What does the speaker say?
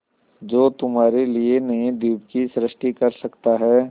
जो तुम्हारे लिए नए द्वीप की सृष्टि कर सकता है